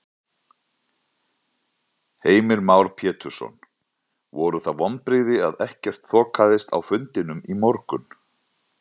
Heimir Már Pétursson: Voru það vonbrigði að ekkert þokaðist á fundinum í morgun?